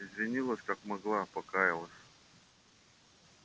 извинилась как могла покаялась